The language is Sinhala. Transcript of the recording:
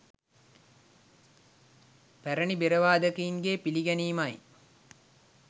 පැරණි බෙර වාදකයන්ගේ පිළිගැනීම යි